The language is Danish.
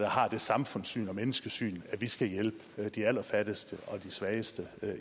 har det samfundssyn og menneskesyn at vi skal hjælpe de allerfattigste og de svageste